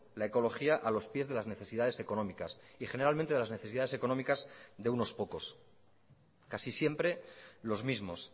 la ecología a los pies de las necesidades económicas y generalmente de las necesidades económicas de unos pocos casi siempre los mismos